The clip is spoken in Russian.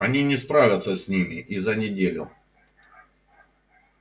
они не справятся с ними и за неделю